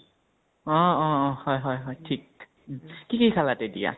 অহ অ অ হয় হয় হয় থিক কি কি খালা তেতিয়া?